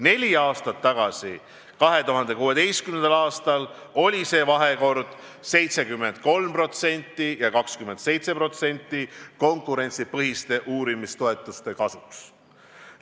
Neli aastat tagasi, 2016. aastal oli see vahekord 73% ja 27% konkurentsipõhiste uurimistoetuste kasuks.